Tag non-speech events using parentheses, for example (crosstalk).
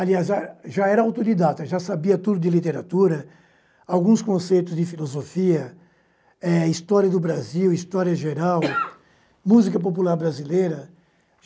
Aliás, já era autodidata, já sabia tudo de literatura, alguns conceitos de filosofia, eh história do Brasil, história geral (coughs) música popular brasileira.